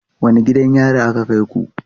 Wane gidan yari aka kai ku?